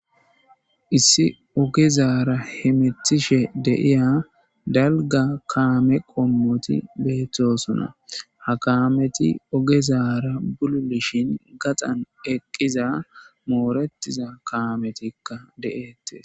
Issi ogezara hemetishe de'eya dalga kame qommoti betosona ha kameti ogezara buro bishin gaxan eqiza moretida kametika de'etes